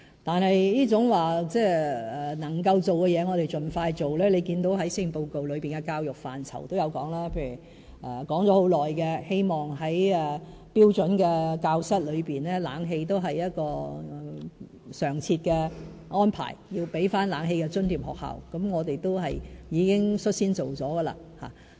但是，能夠做的事我們會盡快做，這在施政報告的教育範疇也有提到，例如提出已久、希望在標準教室安裝冷氣成為常設安排，要給學校冷氣費津貼，我們已經率先進行。